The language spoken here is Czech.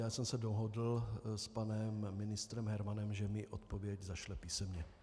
Já jsem se dohodl s panem ministrem Hermanem, že mi odpověď zašle písemně.